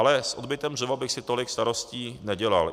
Ale s odbytem dřeva bych si tolik starosti nedělal.